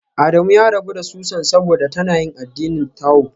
Adamu ya rabu da Susan saboda tana yin addinin Tao